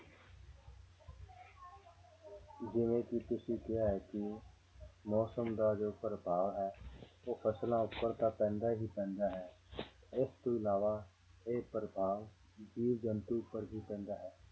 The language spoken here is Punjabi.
ਜਿਵੇਂ ਕਿ ਤੁਸੀਂ ਕਿਹਾ ਹੈ ਕਿ ਮੌਸਮ ਦਾ ਜੋ ਪ੍ਰਭਾਵ ਹੈ ਉਹ ਫ਼ਸਲਾਂ ਉੱਪਰ ਤਾਂ ਪੈਂਦਾ ਹੀ ਪੈਂਦਾ ਹੈ ਇਸ ਤੋਂ ਇਲਾਵਾ ਇਹ ਪ੍ਰਭਾਵ ਜੀਵ ਜੰਤੂ ਉੱਪਰ ਵੀ ਪੈਂਦਾ ਹੈ